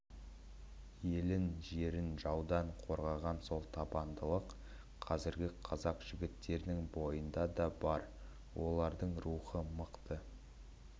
елін жерін жаудан қорғаған сол табандылық қазіргі қазақ жігіттерінің бойында да бар олардың рухы мықты